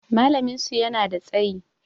Malamin su yana da tsayi